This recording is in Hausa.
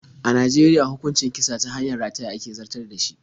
A Najeriya hukuncin kisa ta hanyar rataya ake zartar da shi.